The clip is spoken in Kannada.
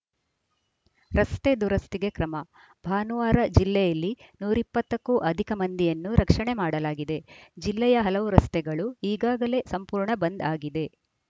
ರಸ್ತೆ ದುರಸ್ತಿಗೆ ಕ್ರಮ ಭಾನುವಾರ ಜಿಲ್ಲೆಯಲ್ಲಿ ನೂರ ಇಪ್ಪತ್ತ ಕ್ಕೂ ಅಧಿಕ ಮಂದಿಯನ್ನು ರಕ್ಷಣೆ ಮಾಡಲಾಗಿದೆ ಜಿಲ್ಲೆಯ ಹಲವು ರಸ್ತೆಗಳು ಈಗಾಗಲೇ ಸಂಪೂರ್ಣ ಬಂದ್‌ ಆಗಿದೆ